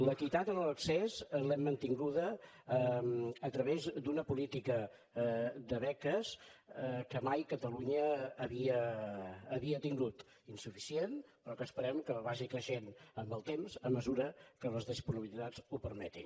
l’equitat en l’accés l’hem mantinguda a través d’una política de beques que mai catalunya havia tingut insuficient però que esperem que vagi creixent amb el temps a mesura que les disponibilitats ho permetin